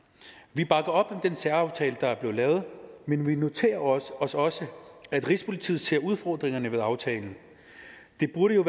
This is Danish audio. vi bakker op om den særaftale der er blevet lavet men vi noterer os også også at rigspolitiet ser udfordringerne ved aftalen det burde jo